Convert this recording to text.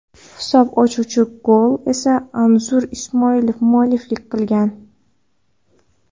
Hisob ochuvchi golga esa Anzur Ismoilov mualliflik qilgan.